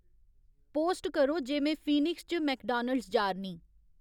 post करो जे में फीनिक्स च मैकडानल्ड्स जा'रनीं